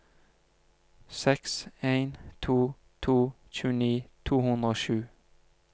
seks en to to tjueni to hundre og sju